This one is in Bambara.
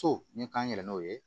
So ni k'an yɛrɛ n'o ye